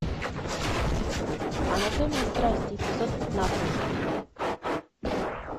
анатомия страсти эпизод пятнадцать